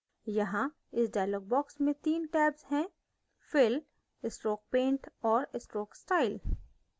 यहाँ इस dialog box में 3 tabs हैंः fill stroke paint और stroke style